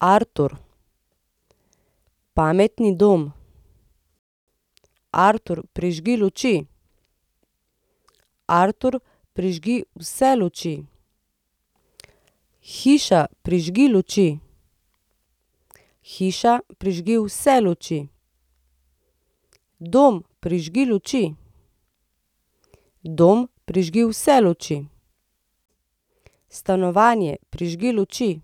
Artur. Pametni dom. Artur, prižgi luči. Artur, prižgi vse luči. Hiša, prižgi luči. Hiša, prižgi vse luči. Dom, prižgi luči. Dom, prižgi vse luči. Stanovanje, prižgi luči.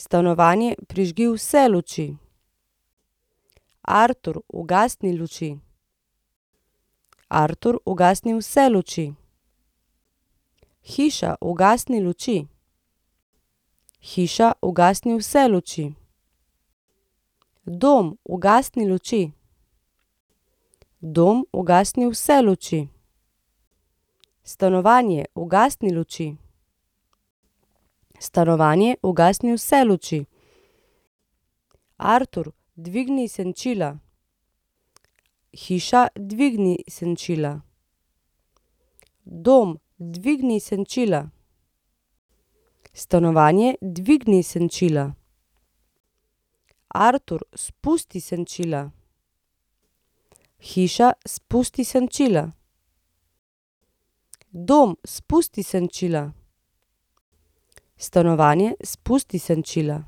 Stanovanje, prižgi vse luči. Artur, ugasni luči. Artur, ugasni vse luči. Hiša, ugasni luči. Hiša, ugasni vse luči. Dom, ugasni luči. Dom, ugasni vse luči. Stanovanje, ugasni luči. Stanovanje, ugasni vse luči. Artur, dvigni senčila. Hiša, dvigni senčila. Dom, dvigni senčila. Stanovanje, dvigni senčila. Artur, spusti senčila. Hiša, spusti senčila. Dom, spusti senčila. Stanovanje, spusti senčila.